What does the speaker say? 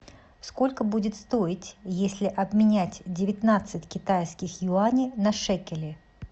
сколько будет стоить если обменять девятнадцать китайских юаней на шекели